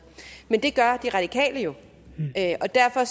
men det gør de radikale jo og derfor